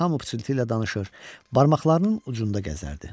Hamı pıçıltı ilə danışır, barmaqlarının ucunda gəzərdi.